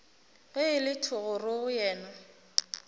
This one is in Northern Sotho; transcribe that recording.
ge e le thogorogo yena